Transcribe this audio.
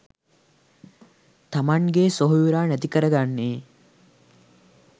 තමන්ගේ සොහොයුරා නැති කරගන්නේ .